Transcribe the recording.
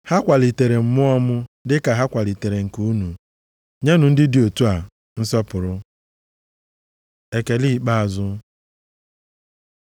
Ha kwalitere mmụọ m dịka ha kwalitere nke unu. Nyenụ ndị dị otu a nsọpụrụ. Ekele ikpeazụ